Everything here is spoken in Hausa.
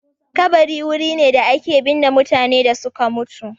Kabari wuri ne da ake binne mutanen da suka mutu